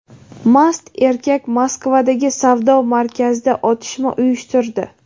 Mast erkak Moskvadagi savdo markazida otishma uyushtirdi.